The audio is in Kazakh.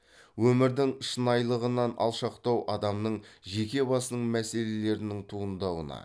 өмірдің шынайылығынан алшақтау адамның жеке басының мәселелерінің туындауына